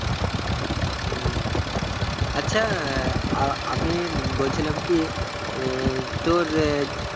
হম আচ্ছা আহ আ~আমি উম বলছিলাম কি আহ তোর আহ